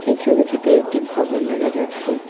এই ছবিটিতে একটি ভবন দেখা যাচ্ছে।